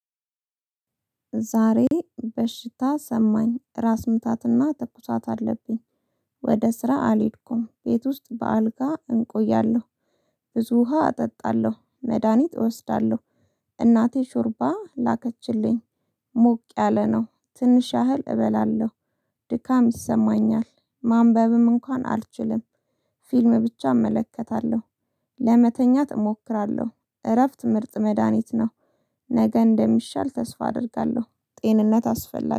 ዛሬ በሽታ ሰማኝ ራስ ምታትና ትኩሳት አለብኝ። ወደ ስራ አልሄድኩም ቤት ውስጥ በአልጋ እንቆያለሁ። ብዙ ውሃ አጠጣለሁ መድሃኒት እወስዳለሁ። እናቴ ሹርባ ላከችልኝ። ሞቅ ያለ ነው ትንሽ ያህል እበላለሁ። ድካም ይሰማኛል ማንበብም እንኳን አልችልም። ፊልም ብቻ እመለከታለሁ። ለመተኛት እሞክራለሁ እረፍት ምርጥ መድሃኒት ነው። ነገ እንደሚሻል ተስፋ አደርጋለሁ ጤንነት አስፈላጊ